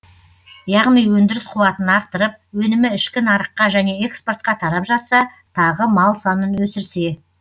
яғни өндіріс қуатын арттырып өнімі ішкі нарыққа және экспортқа тарап жатса тағы мал санын өсірсе